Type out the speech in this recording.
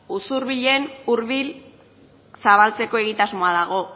usurbilen urbil zabaltzeko egitasmoa dago